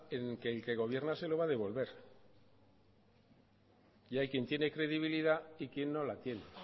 en el que gobierna se lo va a devolver y hay quien tiene credibilidad y quien no la tiene